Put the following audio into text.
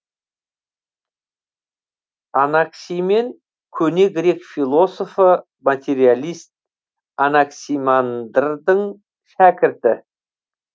анаксимен көне грек философы материалист анаксимандрдің шәкірті